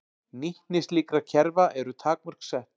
Nýtni slíkra kerfa eru takmörk sett.